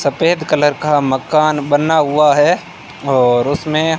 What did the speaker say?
सफेद कलर का मकान बना हुआ है और उसमें--